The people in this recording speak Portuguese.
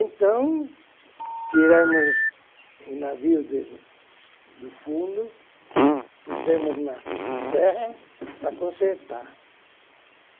Então, tiramos o navio de do fundo, pusemos na terra para consertar.